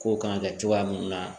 Kow kan ka kɛ cogoya mun na